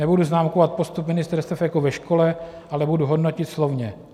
Nebudu známkovat postup ministerstev jako ve škole, ale budu hodnotit slovně.